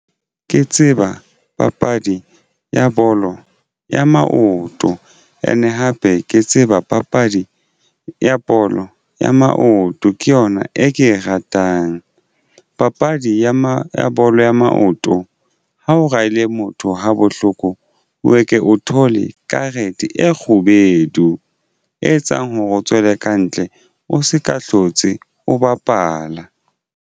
Ke tseba papadi ya bolo ya maoto and hape ke tseba papadi ya bolo ya maoto ke yona e ke e ratang papadi ya bolo ya maoto. Ha o raile motho ha bohloko o eke o thole karete e kgubedu e etsang hore o tswele kantle o se ka hlotse o bapala.